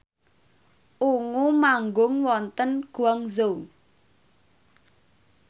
Ungu manggung wonten Guangzhou